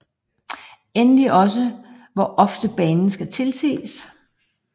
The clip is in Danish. Endelig også hvor ofte banen skal tilses